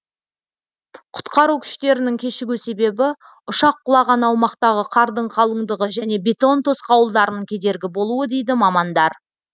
құтқару күштерінің кешігу себебі ұшақ құлаған аумақтағы қардың қалыңдығы және бетон тосқауылдарының кедергі болуы дейді мамандар